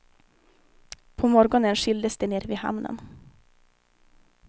På morgonen skildes de nere vid hamnen.